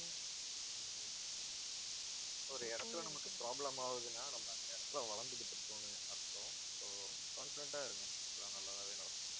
ஒரு இடத்துல நமக்கு problem ஆவுதுன்னா, நம்ம அந்த இடத்துல வளர்ந்துகிட்டு இருக்கோம்னு அர்த்தம், so confident ஆ இருங்க எல்லாம் நல்லதாவே நடக்கும்.